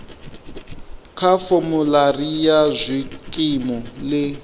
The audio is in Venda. kha formulary ya zwikimu ḽi